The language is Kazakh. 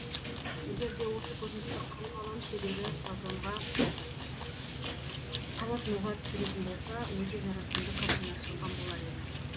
егерде осы көріністі қыл қалам шебері полотноға түсіретін болса өте жарасымды картина шыққан болар еді